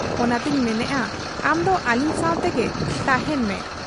ᱚᱱᱟᱛᱮᱧ ᱢᱮᱱᱮᱜ ᱟ ᱟᱢᱫᱚ ᱟᱹᱞᱤᱧ ᱥᱟᱶᱜᱮ ᱛᱟᱦᱮᱸᱱ ᱢᱮ ᱾